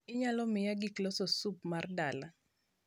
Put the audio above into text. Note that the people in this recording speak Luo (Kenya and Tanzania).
inyalo miaya giki loso sup mar dala